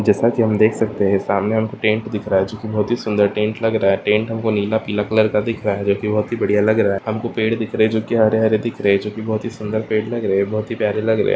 जैसा की हम देख सकते है सामने टेंट दिख रहा है जोकि बहुत ही सुंदर टेंट लग रहा है टेंट हमको नीला पीला कलर का दिख रहा है जोकि बहुत ही बढियाँ दिख रहा है हमको पेड़ दिख रहे है जोकि हरे हरे दिख रहे है चुकी सुंदर पेड़ लग रहे है बहुत ही प्यारे लग रहे है।